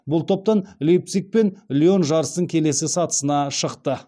бұл топтан лейпциг пен лион жарыстың келесі сатысына шықты